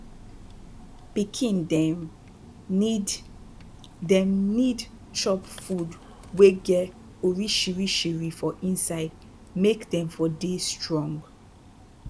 pikin dem need dem need chop food wey get orishiorishi for inside make dem for dey strong